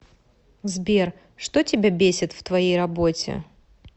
сбер что тебя бесит в твоей работе